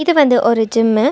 இது வந்து ஒரு ஜிம்மு .